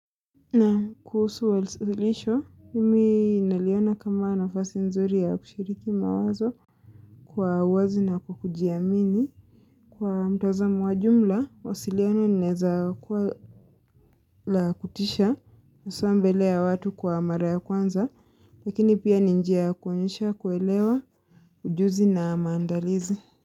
Naam kuhusu walisilisho, mimi naliona kama nafasi nzuri ya kushiriki mawazo kwa wazi na kujiamini. Kwa mtazamo wa jumla, wasiliona linaweza kuwa la kutisha hasa mbele ya watu kwa mara ya kwanza, lakini pia ni njia kuonyesha kuelewa ujuzi na maandalizi.